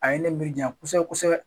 A ye ne miiri ja kosɛbɛ kosɛbɛ